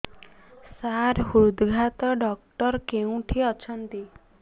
ସାର ହୃଦଘାତ ଡକ୍ଟର କେଉଁଠି ଅଛନ୍ତି